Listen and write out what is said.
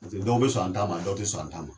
Paseke dɔw be sɔn an taa ma dɔw te sɔn an taama ma